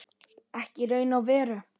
Ekki í raun og veru.